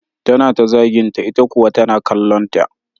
Tana ta zaginta ita kuwa tana kallonta